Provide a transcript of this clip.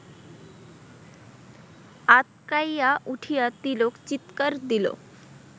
আঁতকাইয়া উঠিয়া তিলক চিৎকার দিল